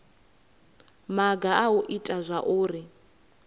maga a u ita zwauri